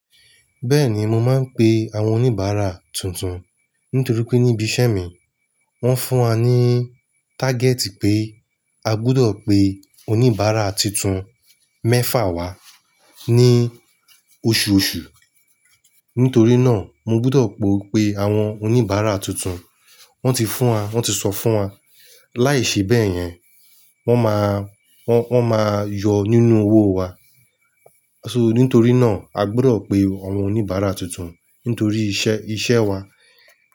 Bẹ́ẹ̀ni mo máa ń pe àwọn oníbàárà tuntun, nítorí pé níbi iṣẹ́ mi wọ́n fún wa ní tágẹ́tì pé a gbọdọ̀ pe oníbàárà tuntun mẹ́fà wá ní oṣù oṣù. Nítorí náà mo gbọdọ̀ pe àwọn oníbàárà tuntun. Wọ́n ti fún wa, wọ́n ti sọ fún wa, láìṣe bẹ́ẹ̀ yẹn wọ́n máa, wọ́n, wọ́n máa yọ nínú owó wa. So nítorí náà a gbọdọ̀ pe àwọn oníbàárà tuntun nítorí iṣẹ́, iṣẹ́ wa.